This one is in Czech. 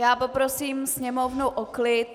Já poprosím sněmovnu o klid.